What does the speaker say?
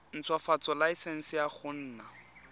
ntshwafatsa laesense ya go nna